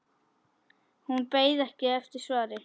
Hún beið ekki eftir svari.